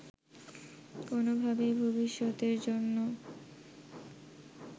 কোনোভাবেই ভবিষ্যতের জন্য